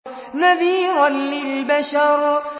نَذِيرًا لِّلْبَشَرِ